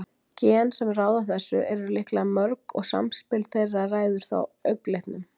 gen sem ráða þessu eru líklega mörg og samspil þeirra ræður þá augnlitnum